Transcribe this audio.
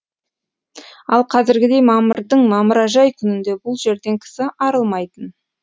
ал қазіргідей мамырдың мамыражай күнінде бұл жерден кісі арылмайтын